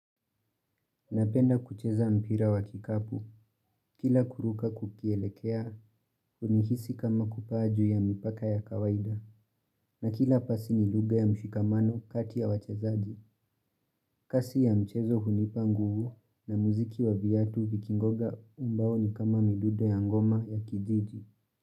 Napenda kucheza mpira wa kikapu, kila kuruka kukielekea, hunihisi kama kupaa ju ya mipaka ya kawaida, na kila pasi ni lugha ya mshikamano kati ya wachezaji. Kasi ya mchezo hunipa nguvu na muziki wa vyatu vikingoga umbao ni kama midude ya ngoma ya kididi.